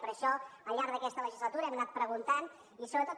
per això al llarg d’aquesta legislatura hem anat preguntant i sobretot